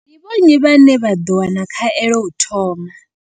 Ndi vho nnyi vhane vha ḓo wana khaelo u thoma?